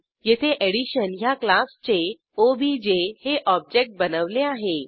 येथे एडिशन ह्या क्लासचे ओबीजे हे ऑब्जेक्ट बनवले आहे